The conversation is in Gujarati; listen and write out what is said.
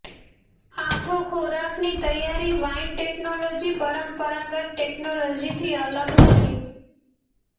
આથો ખોરાકની તૈયારી વાઇન ટેકનોલોજી પરંપરાગત ટેકનોલોજી થી અલગ નથી